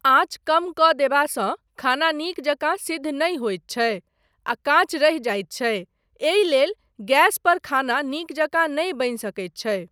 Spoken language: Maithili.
आँच कम कऽ देबासँ खाना नीक जकाँ सिद्ध नहि होइत छै आ काँच रहि जाइत छै एहि लेल गैस पर खाना नीक जकाँ नहि बनि सकैत छै।